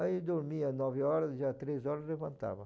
Aí dormia nove horas, já três horas levantava.